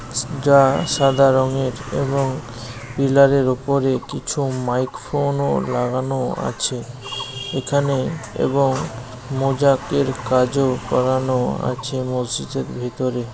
যা সাদা রঙের এবং পিলারের উপরে কিছু মাইক ফোন ও লাগানো আছে এখানেএবংমোজাকের কাজওকরানো আছে মসজিদের ভিতরে।